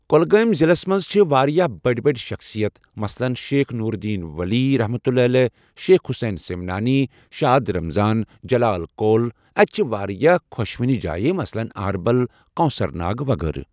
کۄلگٲمۍ ضِلَس منٛز چھِ واریاہ بٔڑۍ بٔڑۍ شَخصیت مَثلن شیخ نورالدین ؤلی سید حُسین سِمنانی شاد رَمضان جَلال کول اَتہِ چھِ واریاہ خۄشٕوٕنہ جایہ مَثلن اہربَل کوکوثر ناگ وغٲرٕ